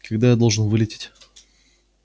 когда я должен вылететь